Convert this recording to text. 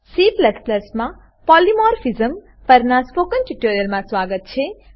C માં polymorphism polymorphism પરનાં spoken ટ્યુટોરીયલમાં સ્વાગત છે